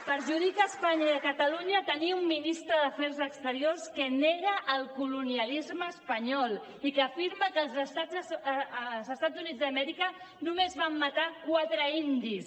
perjudica espanya i catalunya tenir un ministre d’afers exteriors que nega el colonialisme espanyol i que afirma que als estats units d’amèrica només van matar quatre indis